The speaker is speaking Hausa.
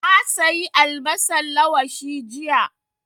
Na sayi albasan lawashi jiya